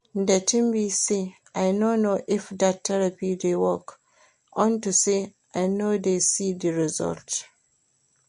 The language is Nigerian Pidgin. The thing be say I no know if dat therapy dey work unto say I no dey see the result